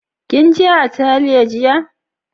Kin je Atelier jiya?